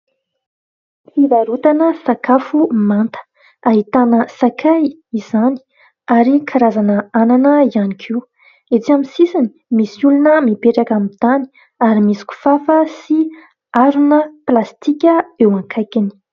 Fivarotana sakafo manta. Ahitana sakay izany ary karazan'anana ihany koa. Etsy amin'ny sisiny misy olona mipetraka amin'ny tany ary misy kifafa sy harona plastika eo akaikiny.